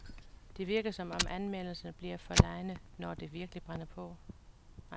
Det virker, som om anmelderne bliver forlegne, når det virkelig brænder på.